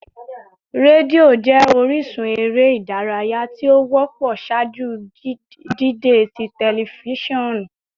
Redio jẹ orisun ere idaraya ti o wọpọ ṣaaju dide ti tẹlifisiọnu